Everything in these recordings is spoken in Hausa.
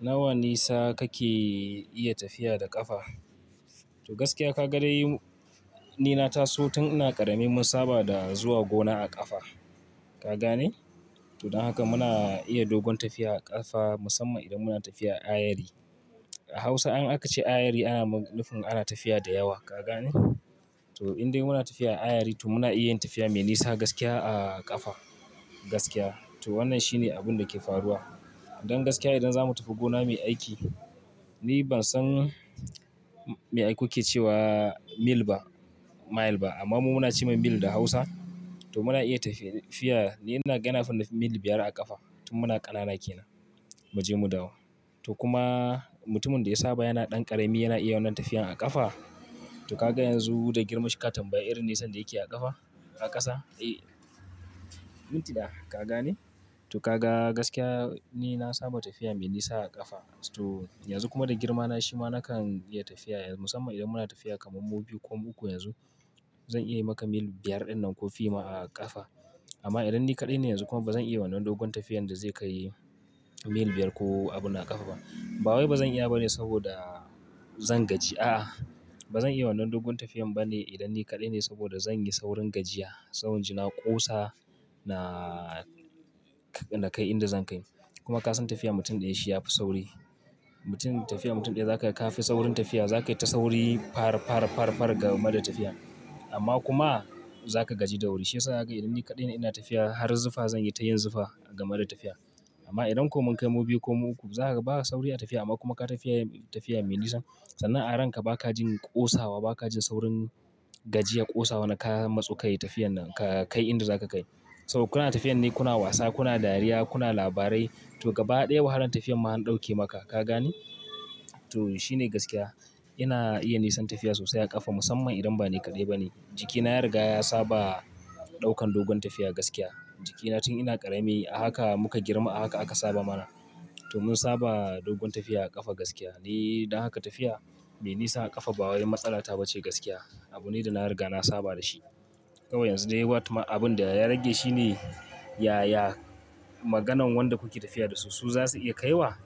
Nawa nisa kake iya tafiya da ƙafa? To gaskiya ka ga dai ni na taso tun ina ƙarami mun saba da zuwa gona a ƙafa. Ka gane? To don haka muna iya dogon tafiya a ƙafa musamman idan muna tafiya a ayari. A Hausa in aka ce ayari ana mu, nufi ana tafiya da yawa, ka gane? To in dai muna tafiya a ayari to muna iya yin tafiya mai nisa gaskiya a ƙafa. Gaskiya. To wannan shine abin da ke faruwa. Don gaskiya idan za mu tafi gona muyi aiki, ni ban san me ai ku ke ce wa mil ba, mile ba amma mu muna ce mil da Hausa. To muna iya tafiya, ni ina ga ina fi na mil biyar a ƙafa tun muna ƙanana ke nan, mu je mu dawo. To kuma mutumin da ya saba yana ɗan ƙarami yana iya wannan tafiyan a ƙafa. To ka ga yanzu da girmashin ka tambaya irin nisan da yake a ƙafa, a ƙasa. Eh. Minti ɗaya, ka gane? To ka ga gaskiya ni na saba tafiya mai nisa a ƙafa. To yanzu kuma da girma na shi ma nakan iya tafiya, musamman idan muna tafiya kamar mu biyu ko mu uku yanzu. Zan iya yi maka mil biyar ɗin nan ko fi ma a ƙafa. Amma idan ni kaɗai ne yanzu kuma ba zan iya wannan dogon tafiyan da zai kai mil biyar ko abunnan a ƙafa ba. Ba wai ba zan iya ba ne saboda zan gaji. A'a, ba zan iya wannan dogon tafiyan ba ne idan ni kaɗai ne saboda zan yi saurin gajiya. Sabon ji na ƙosa na kai inda zan kai. Kuma ka san tafiya mutum ɗaya shi ya fi sauri. Mutum, tafiya mutum ɗaya za ka ga ka fi saurin tafiya. Za ka yi ta sauri, far, far, far, far game da tafiya. Amma kuma za ka gaji da wuri. Shi ya sa haka idan ni kaɗai ina tafiya har zufa zan yi ta yin zufa game da tafiya. Amma idan ko mun kai mu biyu ko mu uku zaka ga ba sauri a tafiyar amma kuma ka tafi, tafiya mai nisa. Sannan a ranka ba ka jin ƙosawa, ba ka jin saurin gajiya ƙosawa na ka matsu ka yi tafiyan nan ka kai inda za ka kai. Saboda kuna tafiya ne, kuna wasa, kuna dariya, kuna labarai. To gaba ɗaya wahalan tafiyan ma an ɗauke maka, ka gane? To shi ne gaskiya. Ina iya nisan tafiya sosai a ƙafa musamman idan ba ne kaɗai ba ne. Jiki na ya riga ya saba ɗaukan dogon tafiya gaskiya. Jiki na tun ina ƙarami a haka muka girma a haka aka saba mana. To mun saba dogon tafiya a ƙafa gaskiya. Ni don haka tafiya mai nisa a ƙafa ba wai matsala ta ba ce gaskiya. Abu ne da na riga na saba da shi. Kawai yanzu dai watma, abin da ya rage shi ne, yaya maganan wanda kuke tafiya da su su za su iya kaiwa.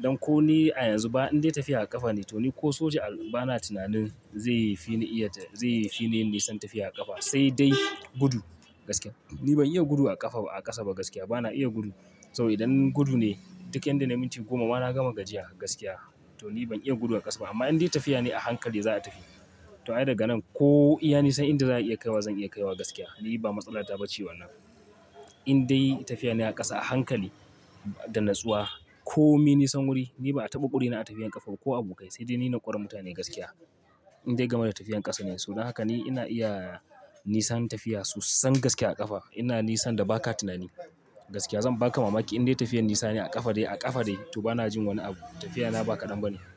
Don ko ni a yanzu ba in dai tafiya a ƙafa ne to ni ko soja al, ba na tunanin zai yi fi ni iya ta, zai yi fi ni nisan tafiya a ƙafa sai dai gudu. Gaskiya. Ni ban iya gudu a ƙafa a ƙasa ba gaskiya. Ba na iya gudu. Saboda idan gudu ne duk inda nayi minti goma ma na gama gajiya gaskiya. To ni ban iya gudu a ƙasa ba amma in dai tafiya ne a hankali za a tafi. To ai daga nan ko iya nisan inda za a iya kaiwa zan iya kaiwa gaskiya. Ni ba matsala ta ba ce wannan. In dai tafiya ne a ƙasa a hankali da natsuwa ko mi nisan wuri, ni ba a taɓa ƙure ni a tafiyan ƙafa ba ko abokai sai dai ni na ƙure mutane gaskiya. Indai game da tafiyar kasa ne, ni ina iya nisan tafiya sosan gaske a kafa ina nisan da ba ka tunani. Gaskiya. Zan ba ka mamaki in dai tafiyan nisani ne a ƙafa de, a ƙafa de, to ba na jin wani abu. Tafiya na ba kaɗan ba ne.